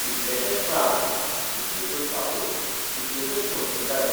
कितलेशेच प्रांत, कितल्योशोच भासो, कितल्योशोच संस्कृतायो.